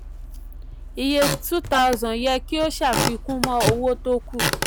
iye 2000 yẹ kí o ṣàfikún mọ́ owó tó kù.